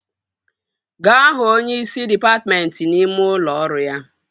Gaa hụ onyeisi dịpatmentị n'ime ụlọ ọrụ ya!